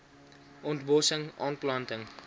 ont bossing aanplanting